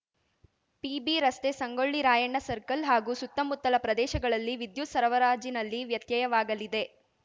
PB ರಸ್ತೆ Sangolli Rayanna circle ಹಾಗೂ ಸುತ್ತಮುತ್ತಲ ಪ್ರದೇಶಗಳಲ್ಲಿ ವಿದ್ಯುತ್‌ ಸರಬರಾಜಿನಲ್ಲಿ ವ್ಯತ್ಯಯವಾಗಲಿದೆ